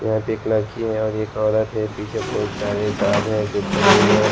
यहां पे एक लड़की है और एक औरत है पीछे बहोत सारे गार्ड है जो खड़े हुए हैं।